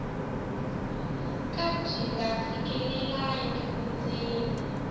ka byi nga fikelelangi vundzeni